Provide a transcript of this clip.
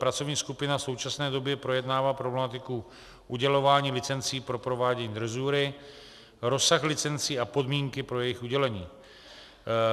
Pracovní skupina v současné době projednává problematiku udělování licencí pro provádění drezury, rozsah licencí a podmínky pro jejich udělení.